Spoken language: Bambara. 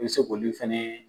I bi se k'olu fɛnɛ